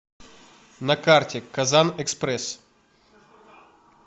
на карте казанэкспресс